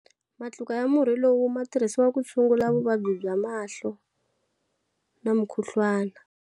Matluka ya murhi lowu ma tirhisiwa ku tshungula vuvabyi bya mahlo na mukhuhlwana.